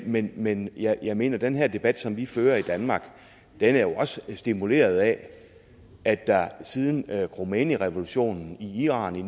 men men jeg jeg mener at den her debat som vi fører i danmark også er stimuleret af at der siden khomeinirevolutionen i iran i